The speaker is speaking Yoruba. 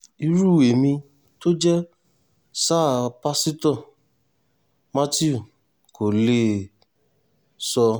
irú ẹ̀mí tó jẹ́ sáà pásítọ̀ matthew kò lè sọ